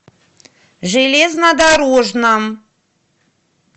железнодорожном